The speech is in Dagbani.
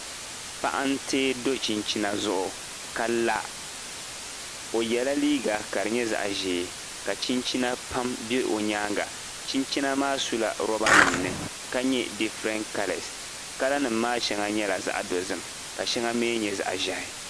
Paɣa n tee do chinchina zuɣu ka la. O yɛ la liiga ka di nyɛ zaɣ'ʒee , ka chinchina pam be o nyaanga. Chinchina maa su la rubber nim ni ka nyɛ different colors. Color nim maa shɛŋa nyɛla zaɣa dozim, ka shɛŋa mi nyɛ zaɣa ʒehi.